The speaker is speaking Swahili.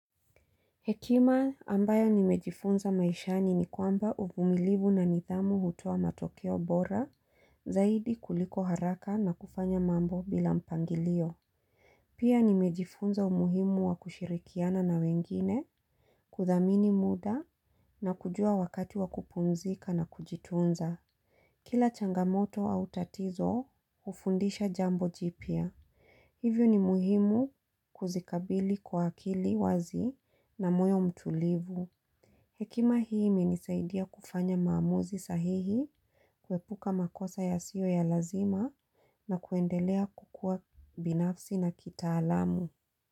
Hekima ambayo nimejifunza maishani ni kwamba uvumilibu na nidhamu hutoa matokeo bora zaidi kuliko haraka na kufanya mambo bila mpangilio. Pia nimejifunza umuhimu wa kushirikiana na wengine kudhamini muda na kujua wakati wa kupumzika na kujitunza. Kila changamoto au tatizo hufundisha jambo jipya. Hivyo ni muhimu kuzikabili kwa akili wazi na moyo mtulivu. Hekima hii imenisaidia kufanya maamuzi sahihi, kuepuka makosa yasiyo ya lazima na kuendelea kukua binafsi na kitaalamu.